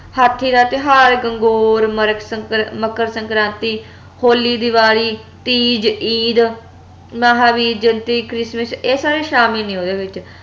ਹਾਥੀ ਦਾ ਤਿਓਹਾਰ ਗੰਗੋਰ ਮੱਰਕ ਸੰਕਰ ਮੱਕਰ ਸਕ੍ਰਾਂਤੀ ਹੋਲੀ ਦੀਵਾਲੀ ਤੀਜ ਈਦ ਮਹਾਵੀਰ ਜੈਅੰਤੀ ਕ੍ਰਿਸਮਸ ਇਹ ਸਾਰੇ ਸ਼ਾਮਿਲ ਨੇ ਓਹਦੇ ਵਿਚ